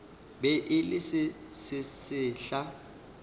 be e le se sesehla